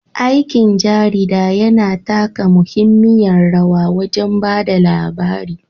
Aikin jarida yana taka muhimmiyar rawa wajen ba da labari.